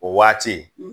O waati